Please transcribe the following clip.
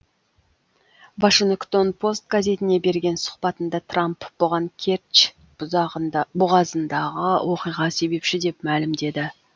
вашингтон пост газетіне берген сұхбатында трамп бұған керчь бұғазындағы оқиға себепші деп мәлімдеді